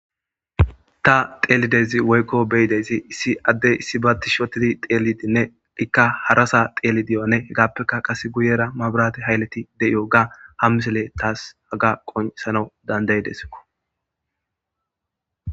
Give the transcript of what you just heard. ta teelidezi woykko beyideysi issi addey issi baa tish otidi xeelidinne ikka harasa xeelidiyoane hegaappekka qase guyera mabirati hayleti de7iyo ga hammisele taas haga qonsano dandaydeskko